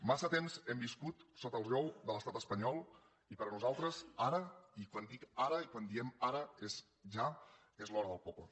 massa temps hem viscut sota el jou de l’estat espanyol i per nosaltres ara i quan dic ara i quan diem ara és ja és l’hora del poble